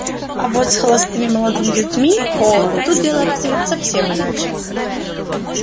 а вот с холостыми молодыми людьми о тут дело обстоит совсем иначе